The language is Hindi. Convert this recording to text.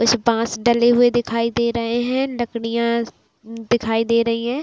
उस बाँस डले हुए दिखाई दे रहे है लकड़ियाँ दिखाई दे रही है।